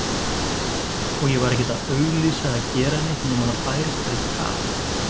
Og ég var ekkert að auglýsa eða gera neitt nema það bærist bara í tal.